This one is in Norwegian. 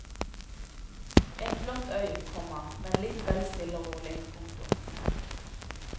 En flott øy, komma men litt vel stille og rolig. punktum